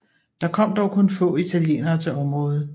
Der kom dog kun få italienere til området